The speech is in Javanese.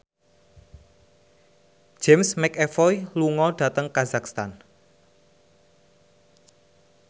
James McAvoy lunga dhateng kazakhstan